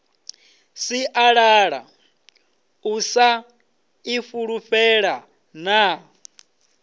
sialala u sa ifulufhela na